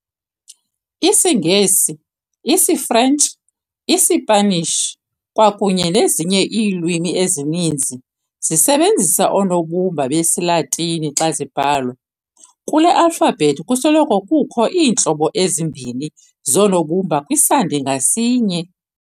IsiNgesi, isiFrentshi, iSipanishi kwaye ezinye iilwimi ezininzi zisebenzisa oonobumba besiLatini xa zibhalwa. kule alphabet kusoloko kukho iintlobo ezimbini zoonobumba kwisandi ngasinye.